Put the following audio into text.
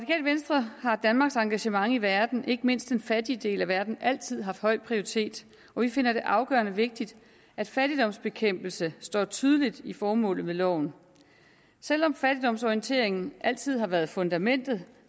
venstre har danmarks engagement i verden ikke mindst den fattige del af verden altid haft høj prioritet og vi finder det afgørende vigtigt at fattigdomsbekæmpelse står tydeligt i formålet med loven selv om fattigdomsorienteringen altid har været fundamentet